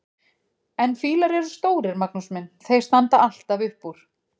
En fílar eru stórir, Magnús minn, þeir standa alltaf upp úr!